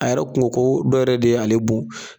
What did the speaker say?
A yɛrɛ kun ko ko dɔw yɛrɛ de y'ale bon.